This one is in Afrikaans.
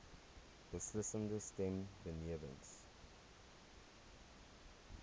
beslissende stem benewens